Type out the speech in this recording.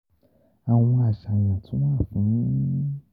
Awọn aṣayan tun wa fun